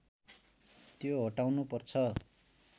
त्यो हटाउनु पर्छ